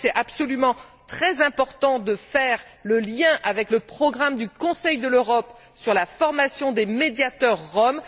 Je crois qu'il est très important de faire le lien avec le programme du Conseil de l'Europe sur la formation des médiateurs roms.